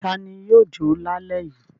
Ta ni yóò jọ lálẹ́ yìí?